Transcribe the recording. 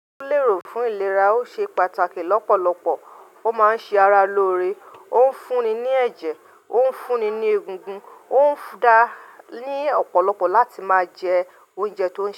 Ó lè rò fún ìlera, ó ṣe pàtàkì lọ́pọ̀lọpọ̀, ó máa ń ṣe ara lóore, ó ń fúnni ní ẹ̀jẹ̀, ó ń fúnni ní egungun, ó ń dá ní ọ̀pọ̀lọpọ̀ láti máa jẹ oúnjẹ tó yẹ.